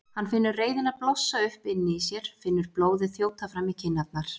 Hann finnur reiðina blossa upp inni í sér, finnur blóðið þjóta fram í kinnarnar.